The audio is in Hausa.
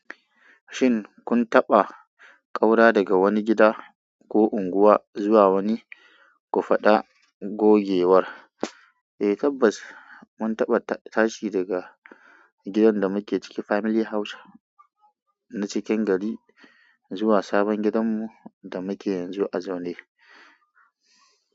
Shin kun taba kaura daga wane gida ko unguwa zuwa wane, ko fada gogewar. Eh tabbas, mun taɓa tashi daga gidan da muke ciki, family house na cikin gari, zuwa sabon gidanmu da muke yanzu a Zone.